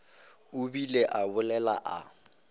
a bile a bolela a